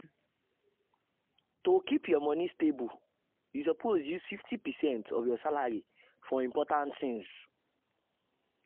to keep your money stable you suppose use 50 percent of your salary for important things.